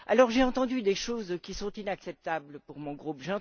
J'ai entendu des choses qui sont inacceptables pour mon groupe.